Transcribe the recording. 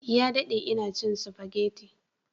Ya dade ina cin spaghetti